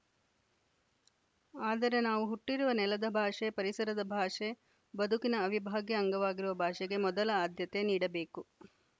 ಆದರೆ ನಾವು ಹುಟ್ಟಿರುವ ನೆಲದ ಭಾಷೆ ಪರಿಸರದ ಭಾಷೆ ಬದುಕಿನ ಅವಿಭಾಗ್ಯ ಅಂಗವಾಗಿರುವ ಭಾಷೆಗೆ ಮೊದಲ ಆದ್ಯತೆ ನೀಡಬೇಕು